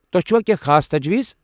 تۄہہِ چھوا کٮ۪نٛہہ خاص تجویز؟